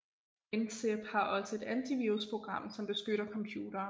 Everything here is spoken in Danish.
WinZip har også et antivirusprogram som beskytter computeren